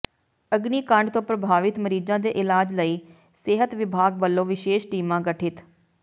ਅਗਨੀਕਾਂਡ ਤੋਂ ਪ੍ਰਭਾਵਿਤ ਮਰੀਜ਼ਾਂ ਦੇ ਇਲਾਜ ਲਈ ਸਿਹਤ ਵਿਭਾਗ ਵਲੋਂ ਵਿਸ਼ੇਸ਼ ਟੀਮਾਂ ਗਠਿਤ